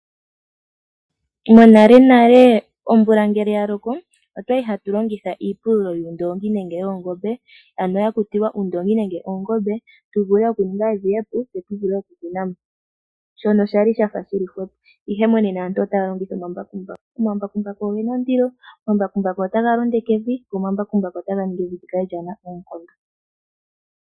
Monalenale omvula ngele ya loko, otwa li hatu longitha iipululo yuundoongi nenge yoongombe, ano ya kutilwa uundoongi nege oongombe tu vule okuninga evi e pu tse tu vule okukuna mo, shono sha li sha fa shi li hwepo. Ihe monena aantu otaya longitha omambakumbaku. Omambakumbaku oge na ondilo, omambakumbaku otaga londeke evi, go omambakumbaku otaga ningi evi li kale lyaa na oonkondo.